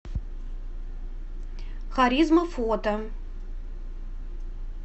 харизма фото